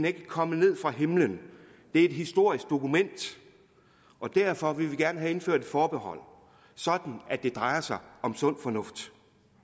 ikke kommet ned fra himlen det er et historisk dokument og derfor vil vi gerne have indført et forbehold sådan at det drejer sig om sund fornuft